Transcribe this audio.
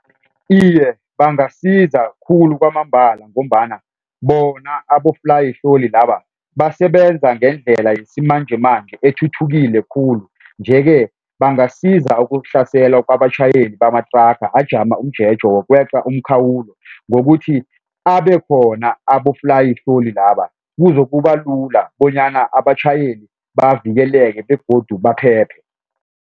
Iye, bangasiza khulu kwamambala ngombana bona aboflayihloli laba basebenza ngendlela yesimanjemanje ethuthukile khulu nje-ke bangasiza ukuhlasela kwabatjhayeli bamathraga ajama umjeje wokweqa umkhawulo ngokuthi abekhona aboflayihloli laba kuzokuba lula bonyana abatjhayeli bavikeleke begodu baphephe.